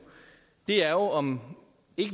er jo om